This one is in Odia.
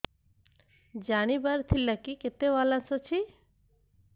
ଜାଣିବାର ଥିଲା କି କେତେ ବାଲାନ୍ସ ଅଛି